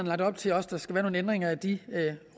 lagt op til at der skal være nogle ændringer af de